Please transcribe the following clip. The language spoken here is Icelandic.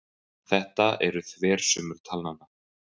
Þetta eru þversummur talnanna.